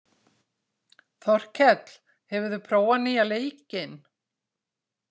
Þorkell, hefur þú prófað nýja leikinn?